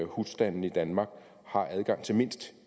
husstandene i danmark har adgang til mindst